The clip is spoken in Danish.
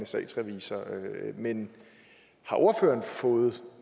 statsrevisor men har ordføreren fået